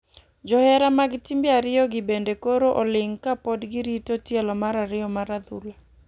Johera mag timbe ariyo gi bende koro oling ka pod girito tielo mar ariyo mar adhula .